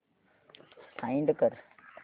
find कर